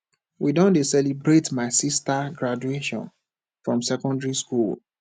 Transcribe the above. we don dey celebrate my sista graduation from secondary skool